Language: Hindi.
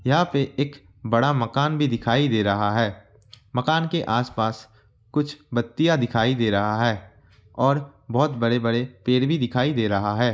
यहाँ एक बड़ा मकान भी दिखाई दे रहा है मकान के आस पास कुछ बत्तियां दिखाई दे रहा है और बहोत बड़े बड़े पेड़ भी दिखाई दे रहा है।